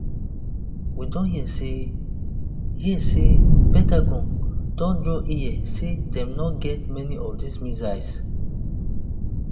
we don hear say hear say pentagon don draw ear say dem no get many of dis missiles